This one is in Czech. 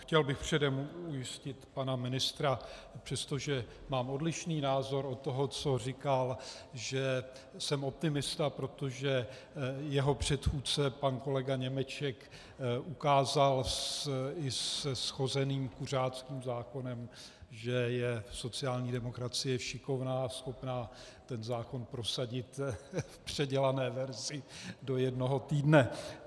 Chtěl bych předem ujistit pana ministra, přestože mám odlišný názor od toho, co říkal, že jsem optimista, protože jeho předchůdce pan kolega Němeček ukázal i se shozeným kuřáckým zákonem, že je sociální demokracie šikovná a schopná ten zákon prosadit v předělané verzi do jednoho týdne.